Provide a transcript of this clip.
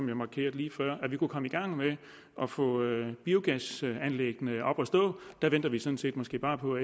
jeg markerede lige før at vi nu kunne komme i gang med at få biogasanlæggene op at stå der venter vi sådan set måske bare på